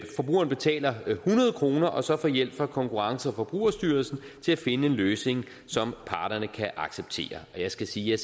forbrugeren betaler hundrede kroner og man så får hjælp fra konkurrence og forbrugerstyrelsen til at finde en løsning som parterne kan acceptere og jeg skal sige at